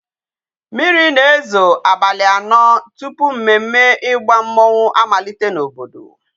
Mmiri na-ezo abali ano tupu mmemme igba mmonwu amalite n'obodo.